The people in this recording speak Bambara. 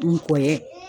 N kɔni ye